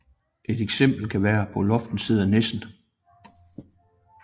Et eksempel kan være På loftet sidder nissen